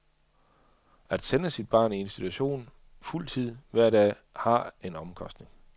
At sende sit barn i institution fuld tid hver dag har en omkostning.